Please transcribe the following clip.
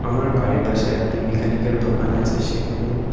আমার বাড়ির পাশে একটি মেকানিক -এর দোকান আছে সেখানে।